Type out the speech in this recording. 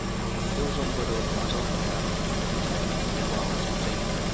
Yau zan gwada wata sabuwar mazauniya da mutane ke yabawa sosai.